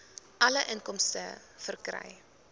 alle inkomste verkry